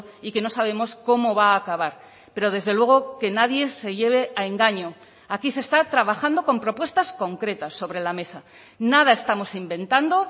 y que no sabemos cómo va a acabar pero desde luego que nadie se lleve a engaño aquí se está trabajando con propuestas concretas sobre la mesa nada estamos inventando